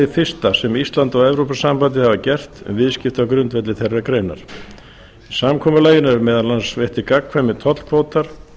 fyrsta sem ísland og evrópusambandið hafa gert um viðskipti á grundvelli þeirrar greinar í samkomulaginu eru meðal annars veittir gagnkvæmir tollkvótar